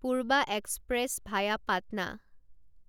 Purva express via Patna